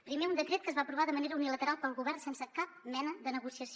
primer un decret que es va aprovar de manera unilateral pel govern sense cap mena de negociació